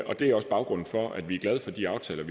og det er også baggrunden for at vi er glade for de aftaler